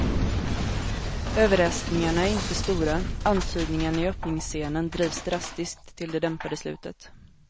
Överraskningarna är inte stora, antydningarna i öppningsscenen drivs drastiskt till det dämpade slutet.